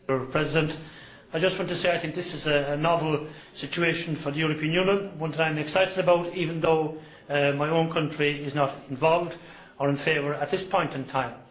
Mr President, I just want to say I think that this is a novel situation for the European Union, one that I am excited about even though my own country is not involved or in favour in this point in time.